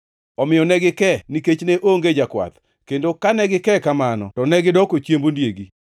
Omiyo ne gike nikech ne onge jakwath, kendo kane gike kamano to negidoko chiemb ondiegi.